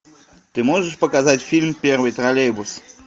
ты можешь показать фильм первый троллейбус